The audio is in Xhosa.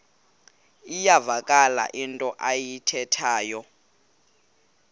iyavakala into ayithethayo